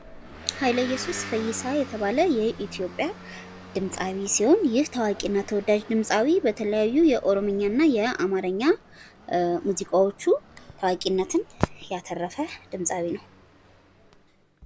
ሀይለ እየሱስ ፈይሳ የተባለ የኢትዮጵያ ድምፃዊ ሲሆን ፤ ይህ ታዋቂና ተወዳጅ ድምፃዊ በተለያዩ በኦሮሚኛና በአማርኛ ሙዚቃዎቹ ታዋቂነትን ያተረፈ ድምፃዊ ነው።